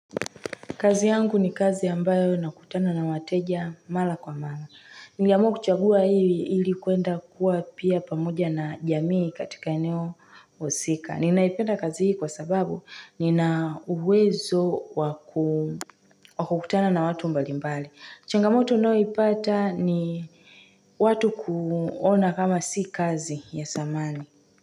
Kazi yangu ni kazi ambayo nakutana na wateja mala kwa mala. Niliamua kuchagua hili kwenda kuwa pia pamoja na jamii katika eneo husika. Ninaipenda kazi hii kwa sababu ninauwezo wa kukutana na watu mbalimbali. Changamoto ninayoipata ni watu kuona kama si kazi ya thamani.